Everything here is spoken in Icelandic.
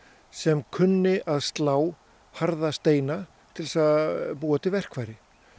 sem kunni að slá harða steina til að búa til verkfæri